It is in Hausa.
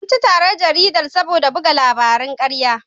An ci tarar jaridar saboda buga labarin ƙarya.